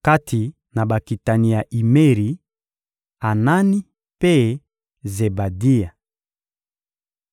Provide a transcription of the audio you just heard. Kati na bakitani ya Imeri: Anani mpe Zebadia.